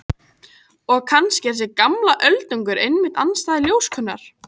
Og kannski er þessi gamli öldungur einmitt andstæða ljóskunnar.